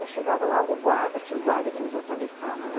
Mas chegava lá o guarda, tinha o guarda que nos atravessava lá,